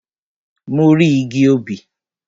Mo rí igi obì.